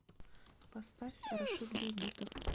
поставь рашид бейбутов